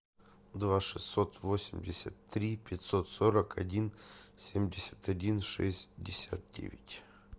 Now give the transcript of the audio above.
два шестьсот восемьдесят три пятьсот сорок один семьдесят один шестьдесят девять